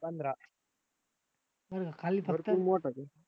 पंधरा बर का